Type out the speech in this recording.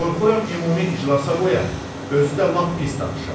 Qorxuram ümumi iclasa qoya, özü də lap pis danışa.